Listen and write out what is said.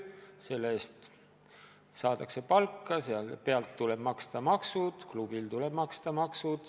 Selle eest saadakse palka, sealt pealt tuleb maksta maksud, ka klubil tuleb maksta maksud.